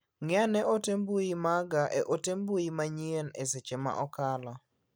Ng'i ane ote mbui maga e mote mbui manyien e seche ma osekalo.